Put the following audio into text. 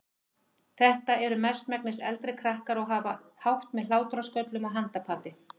Þetta eru mestmegnis eldri krakkar og hafa hátt með hlátrasköllum og handapati.